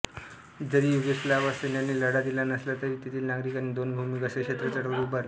जरी युगोस्लाव्ह सैन्याने लढा दिला नसला तरी तेथील नागरिकांनी दोन भूमिगत सशस्त्र चळवळी उभारल्या